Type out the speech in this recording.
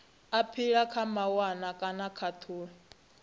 aphila kha mawanwa kana khathulo